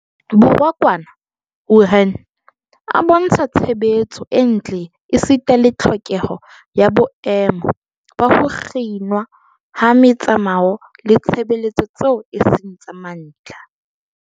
Borwa kwana Wuhan a bontsha tshebetso e ntle esita le tlhokeho ya boemo ba ho kginwa ha metsamao le ditshebeletso tseo e seng tsa mantlha.